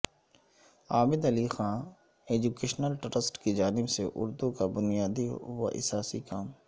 عابد Ali Khan educational trust کی جانب سے اردو کا بنیادی و اساسی کام